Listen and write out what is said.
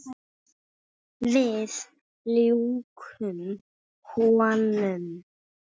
Við ljúkum honum.